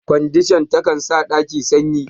Kwandishan ta kan sa ɗaki sanyi.